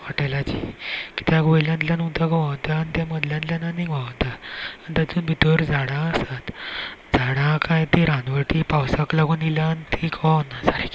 होटेला ची किद्याक वयल्यांतल्यान उदक व्हावता आनी ते मदल्यात्ल्यान आनीक व्हावता आनी तांतुन भीतर झाडा आसात झाडा काय ती रानवटी पावसाक लागुन येय्ल्या ते कोळोना सारखे.